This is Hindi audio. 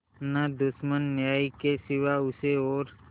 न दुश्मन न्याय के सिवा उसे और